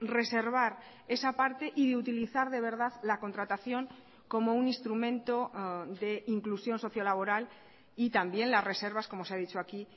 reservar esa parte y de utilizar de verdad la contratación como un instrumento de inclusión socio laboral y también las reservas como se ha dicho aquí